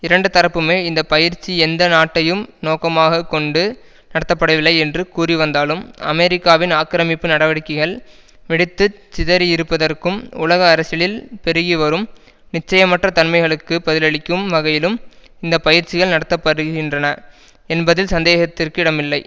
இரண்டு தரப்புமே இந்த பயிற்சி எந்த நாட்டையும் நோக்கமாக கொண்டு நடத்தப்படவில்லை என்று கூறிவந்தாலும் அமெரிக்காவின் ஆக்கிரமிப்பு நடவடிக்கைகள் வெடித்து சிதறியிருப்பதற்கும் உலக அரசியலில் பெருகிவரும் நிச்சயமற்ற தன்மைகளுக்கு பதிலளிக்கும் வகையிலும் இந்த பயிற்சிகள் நடத்த படுகின்றன என்பதில் சந்தேகத்திற்கு இடமில்லை